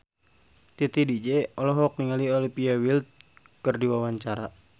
Titi DJ olohok ningali Olivia Wilde keur diwawancara